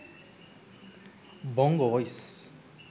bongo voice